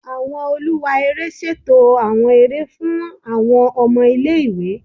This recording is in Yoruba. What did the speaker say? Awọn oluwa ere ṣeto awọn ere fun awọn ọmọ ile-iwe